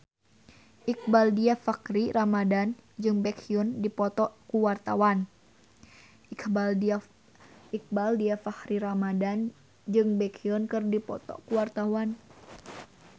Iqbaal Dhiafakhri Ramadhan jeung Baekhyun keur dipoto ku wartawan